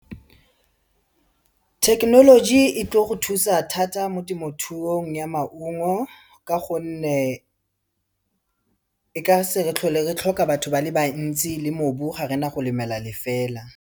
Thekenoloji e tlo go thusa thata mo temothuong ya maungo ka gonne, e ka se re tlhole re tlhoka batho ba le bantsi le mobu ga rena go lemela lefela.